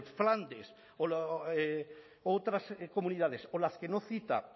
flandes u otras comunidades o las que no cita